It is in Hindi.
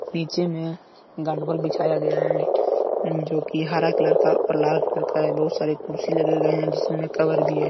पीछे में बिछाया गया है जो की हरा कलर का और लाल कलर का बहुत सारे कुर्सी लगे हुए हैं जिसमें कवर भी है।